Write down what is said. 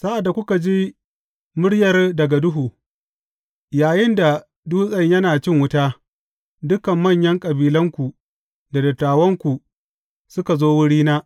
Sa’ad da kuka ji muryar daga duhu, yayinda dutsen yana cin wuta, dukan manyan kabilanku da dattawanku suka zo wurina.